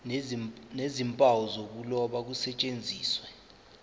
nezimpawu zokuloba kusetshenziswe